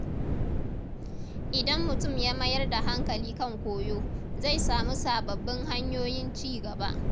Idan mutum ya mayar da hankali kan koyo, zai samu sababbin hanyoyin ci gaba.